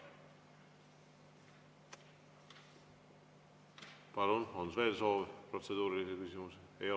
Palun, on veel soov protseduurilisi küsimusi esitada?